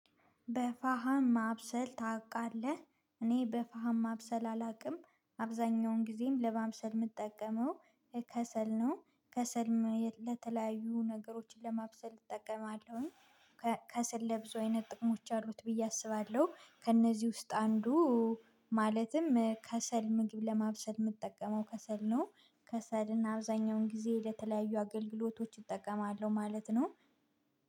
በፋሃም ማብሰል ታውቃለህ? እኔ በፋሃም ማብሰል አላቅም አብዛኛውን ጊዜም ለማብሰል ምጠቀመው ከሰል ነው። ከሰልም ለተለያዩ ነገሮችን ለማብሰል እጠቀማለሁኝ። ከሰል ለብዙ አይነት ጥቅሞች አሉት ብዬ አስባለሁ። ከእነዚህ ውስጥ አንዱ ማለትም ከሰል ምግብ ለማብሰል ምጠቀመው ከሰል ነው። ከሰልን አብዛኛውን ጊዜ ለተለያዩ አገልግሎቶች እጠቀማለሁ ማለት ነው።